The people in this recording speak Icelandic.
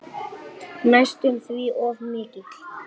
Næstum því of mikill.